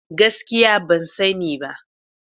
Gaskiya ban sani ba.